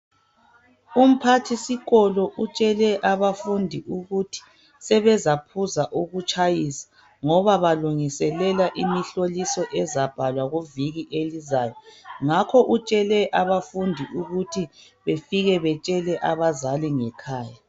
Umphathi sikolo utshele abafundi ukuthi sebezaphuza ukutshayisa ngoba balungiselela imihloliso ezabhalwa kuviki elizayo ngakho utshele abafundi ukuthi befike betshelwe abazali ngekhaya.